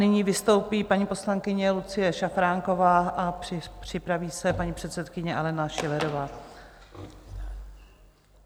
nyní vystoupí paní poslankyně Lucie Šafránková a připraví se paní předsedkyně Alena Schillerová.